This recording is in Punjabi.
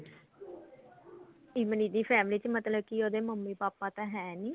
ਇਮਲੀ ਦੀ family ਚ ਮਤਲਬ ਕਿ ਉਹਦੇ ਮੰਮੀ ਪਾਪਾ ਤਾਂ ਹੈ ਨੀ